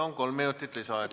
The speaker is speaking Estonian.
Palun, kolm minutit lisaaega!